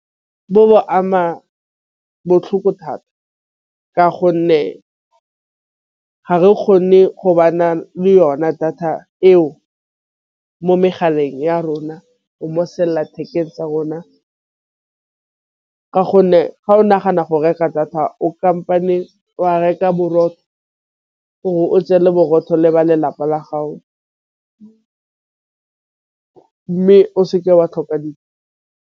Bo ama botlhoko thata ka gonne ga re kgone go ba na le yona data eo mo megaleng ya rona go mosi selelathekeng tsa rona, ka gonne ga o nagana go reka data o kampane wa reka borotho gore o tseye le borotho le ba lelapa la gago mme o se ke wa tlhoka .